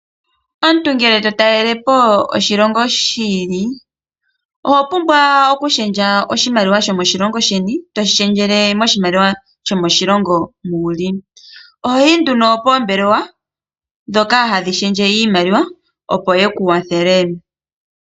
Omuntu ngele to talele po oshilongo shi ili oho pumbwa okushendja oshimaliwa shimoshilongo sheni ,toshi shendjele moshimaliwa shoshilongo moka wuli ohoyi nduno poombelewa dhika hadhi shendje iimaliwa opo yeku kwathele.